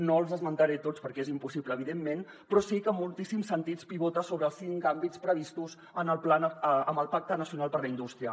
no els esmentaré tots perquè és impossible evidentment però sí que en moltíssims sentits pivota sobre els cinc àmbits previstos en el pacte nacional per a la indústria